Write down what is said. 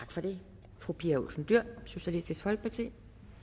tak for det fru pia olsen dyhr socialistisk folkeparti